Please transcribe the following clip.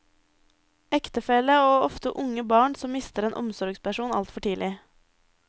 Ektefelle og ofte unge barn som mister en omsorgsperson altfor tidlig.